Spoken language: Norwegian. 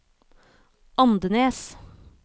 Andenes